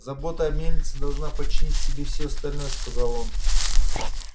забота о мельнице должна подчинить себе всё остальное сказал он